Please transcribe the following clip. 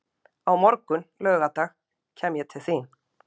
Á morgun, laugardag, kem ég til þín.